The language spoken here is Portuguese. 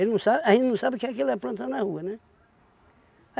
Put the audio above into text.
não sabe a gente não sabe o que é que ele apronta na rua, né?